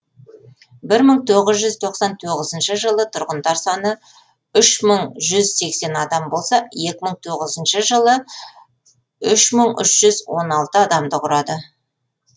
бір мың тоғыз жүз тоқсан тоғызыншы жылы тұрғындар саны үш мың жүз сексен адам болса екі мың тоғызыншы жылы үш мың үш жүз он алты адамды құрады